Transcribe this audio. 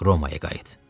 Romaya qayıt.